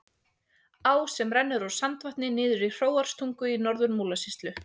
Á sem rennur úr Sandvatni og niður í Hróarstungu í Norður-Múlasýslu.